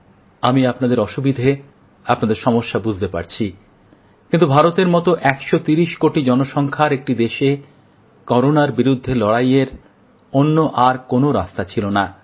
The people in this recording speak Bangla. আমি আপনাদের অসুবিধে আপনাদের সমস্যা বুঝতে পারছি কিন্তু ভারতের মত ১৩০ কোটি জনসংখ্যার একটি দেশে করোনার বিরুদ্ধে লড়াইয়ের অন্য আর কোনো রাস্তা ছিল না